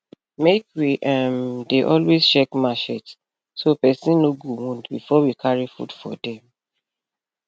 make we um dey always check marchet so person no go wound before we carry food for farm